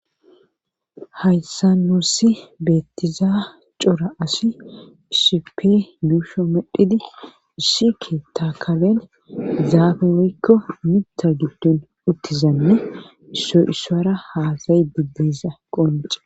haysa nuussi beettiza cora asi issippe yuusho medhidi issike tta karen zaabe weykko mita giddun uttizanne isso isara haasay digdiza qonce